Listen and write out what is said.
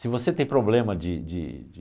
Se você tem problema de de de